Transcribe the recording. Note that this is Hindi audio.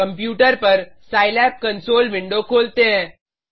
कंप्यूटर पर सिलाब कंसोल विंडो खोलते हैं